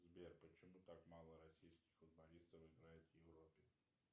сбер почему так мало российских футболистов играет в европе